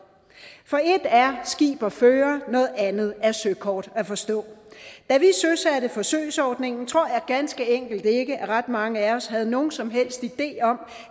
for et er skib at føre noget andet er søkort at forstå da vi søsatte forsøgsordningen tror jeg ganske enkelt ikke at ret mange af os havde nogen som helst idé om